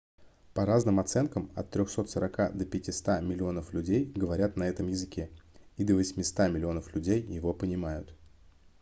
по разным оценкам от 340 до 500 миллионов людей говорят на этом языке и до 800 миллионов людей его понимают